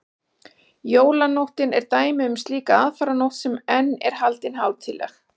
jólanóttin er dæmi um slíka aðfaranótt sem enn er haldin hátíðleg